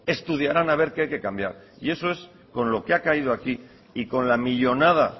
estudiarán a ver qué hay que cambiar y eso es con lo que ha caído aquí y con la millónada